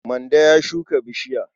Mande ya shuka bishiya.